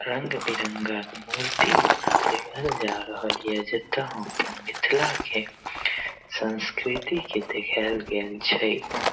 रंग बिरंगा मूर्ति बनल दिखल जाय रहल ये जता हम अपन मिथला के संस्कृती के देखऐल गऐल छै।